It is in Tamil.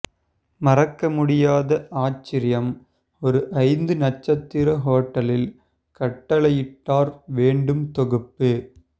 மறக்கமுடியாத ஆச்சரியம் ஒரு ஐந்து நட்சத்திர ஹோட்டலில் கட்டளையிட்டார் வேண்டும் தொகுப்பு